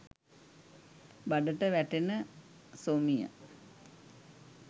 බඩට වැටෙන සොමිය